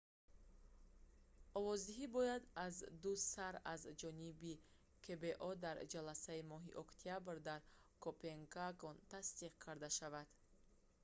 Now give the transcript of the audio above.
овоздиҳӣ бояд аздусар аз ҷониби кбо дар ҷаласаи моҳи октябр дар копенгаген тасдиқ карда шавад